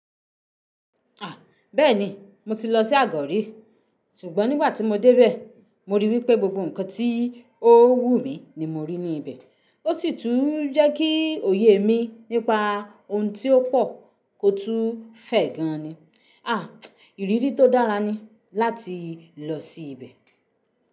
À, bẹ́ẹ̀ ni, mo ti lọ sí Àgọ́rí. Ṣùgbọ́n nígbà tí mo dé bẹ̀, mo ríi wípé gbogbo ǹkan tí ó wù mí ni mo rí ní ibẹ̀. Ó sì tún jẹ́ kí òye mi nípa ohun tí ó pò kò tún fẹ̀ gan ni. À, ìrírí tó dára ni láti lọ sí ibẹ̀